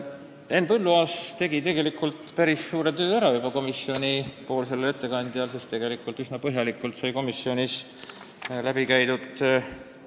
Henn Põlluaas tegi minu kui komisjoni ettekandja eest päris suure töö ära, see teema sai üsna põhjalikult läbi käidud.